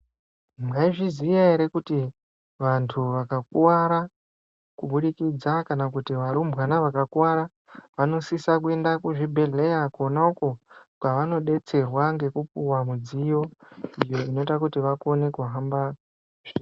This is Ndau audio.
Mwaizviziya ere kuti vantu vakakuwara kuburikidza kana kuti varumbwana vakakuwara vanosisa kuenda kuzvibhedhlera Kona uko kwavanodetserwa ngekupiwa midziyo iyo inoita kuti vakone kuhamba.